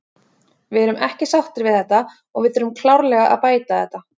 Við erum ekki sáttir við þetta og við þurfum klárlega að bæta þetta.